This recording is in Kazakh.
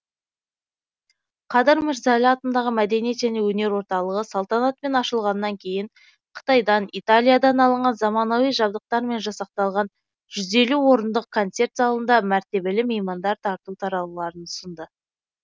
қадыр мырза әлі атындағы мәдениет және өнер орталығы салтанатпен ашылғаннан кейін қытайдан италиядан алынған замауани жабдықтармен жасақталған жүз елу орындық концерт залында мәртебелі меймандар тарту таралғыларын ұсынды